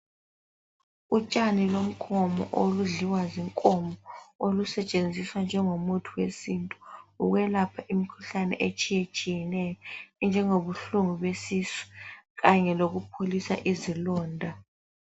Utshani lomkhomo oludliwa zinkomo olusetshenziswa njengomuthi wesintu ukwelapha imikhuhlane etshiyatshiyeneyo enjengobuhlobo besisu kanye lokupholisa ozilonda.